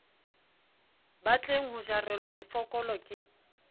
batleng ho jarelwa mefokolo ke